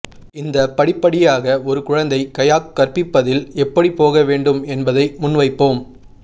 இந்த படி படிப்படியாக ஒரு குழந்தை கயாக் கற்பிப்பதில் எப்படி போக வேண்டும் என்பதை முன்வைப்போம்